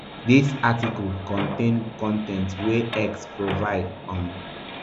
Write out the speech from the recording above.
dis article contain con ten t wey x provide um